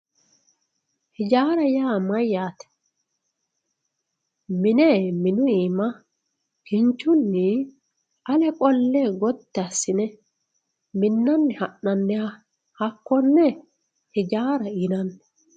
ijaara yaa mayaate mine minu iima kinchunni aleqqolle gatti assine minanni ha'nanniha hakkonne ijaara yinanni.